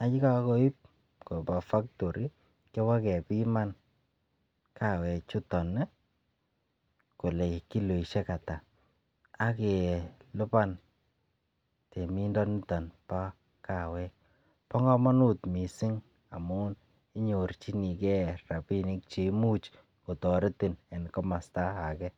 ak yekokoip koba factory kiwa kepima kawek chuton nii kole kiloishek atak ak Kee lipanet temindo niton bo kawek bo komonut missing amun inyorchigee rabinik che imuch kotoretin en komosto age.